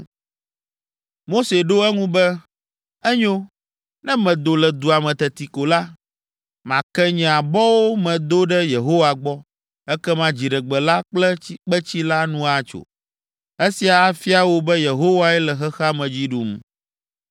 Mose ɖo eŋu be, “Enyo, ne medo le dua me teti ko la, make nye abɔwo me do ɖe Yehowa gbɔ, ekema dziɖegbe la kple kpetsi la nu atso. Esia afia wò be Yehowae le xexea me dzi ɖum.